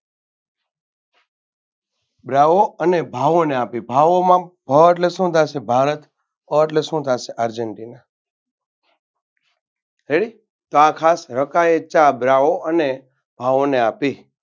બાઓ અને ભાઓને આપી ભાવો માં ભ એટલે શું થાય ભારત અ અટલે શું થાય argentina ready તો આ ખાસ રકાએ ચા બાઓ અને ભાવોને આપી.